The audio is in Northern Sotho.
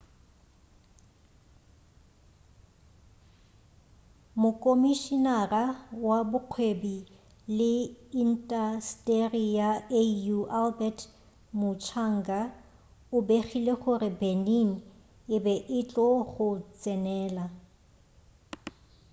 mokomišinara wa bokgwebi le intasteri ya au albert muchanga o begile gore benin e be e tlo go tsenela